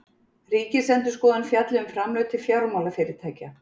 Ríkisendurskoðun fjalli um framlög til fjármálafyrirtækja